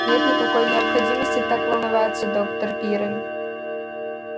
нет никакой необходимости так волноваться доктор пиренн